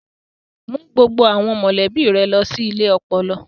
Mú gbogbo àwọn mọ̀lẹ́bí rẹ lọ sí ilé ọpọlọ.